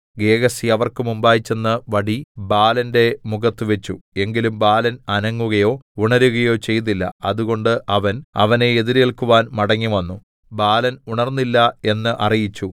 Gehazi അവർക്ക് മുമ്പായി ചെന്ന് വടി ബാലന്റെ മുഖത്തു വെച്ചു എങ്കിലും ബാലൻ അനങ്ങുകയോ ഉണരുകയോ ചെയ്തില്ല അതുകൊണ്ട് അവൻ അവനെ എതിരേൽക്കുവാൻ മടങ്ങിവന്നു ബാലൻ ഉണർന്നില്ല എന്ന് അറിയിച്ചു